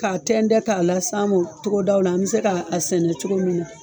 K'a tɛntɛn k'a la se an mɔn togodaw la an bɛ se ka sɛnɛ cogo min na.